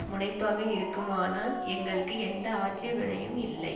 முனைப்பாக இருக்குமானால் எங்களுக்கு எந்த ஆட்சேபனையும் இல்லை